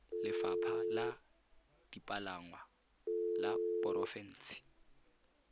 lefapha la dipalangwa la porofense